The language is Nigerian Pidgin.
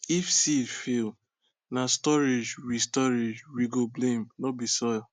if seed fail na storage we storage we go blame no be soil